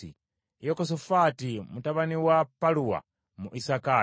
Yekosafaati mutabani wa Paluwa, mu Isakaali;